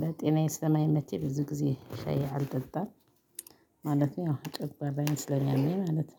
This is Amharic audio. ለጤናዬ ስለማይመቸኝ ብዙ ጊዜ ሻዬ አልጠጣም ማለት ነው። ያው ጨጉአራዬን ስለሚያመኝ ማለት ነው